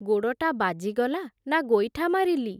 ଗୋଡ଼ଟା ବାଜିଗଲା, ନା ଗୋଇଠା ମାରିଲି ।